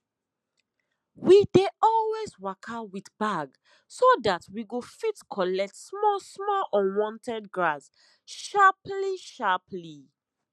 we dey always waka with bag so that we go fit collect small small unwanted grass sharply sharply